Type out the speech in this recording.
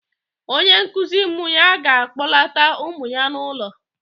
Onye nkụzi ụmụ ya ga-akpọlata ụmụ ya n'ụlọ